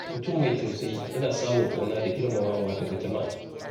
Mutum mai tausayi yana samun ƙauna da girmamawa daga jama’a.